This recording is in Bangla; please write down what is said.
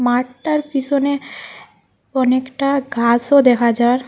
মাঠটার পিসোনে অনেকটা গাসও দেখা যার ।